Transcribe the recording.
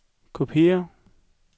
kopiér